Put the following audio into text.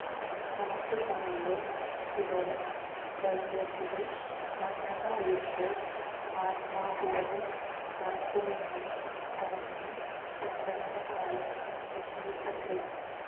നാട്ടുകാരില് ചിലരും ശരീരത്തില് മണ്ണെണ്ണ ഒഴിച്ച് ആത്മാഹൂതി നടത്തുമെന്ന് പറഞ്ഞ് പിന്തുണയുമായി എത്തിയിട്ടുണ്ട്